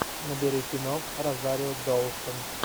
набери кино розарио доусон